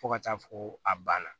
Fo ka taa fɔ ko a banna